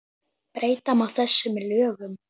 Breyta má þessu með lögum